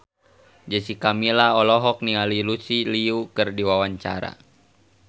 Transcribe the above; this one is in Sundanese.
Jessica Milla olohok ningali Lucy Liu keur diwawancara